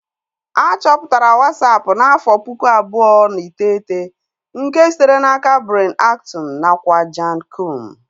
A chọpụtara Wasapu n'afọ pụkụ abụọ na iteghete nke sitere n'aka Brian Acton nakwa Jan Koum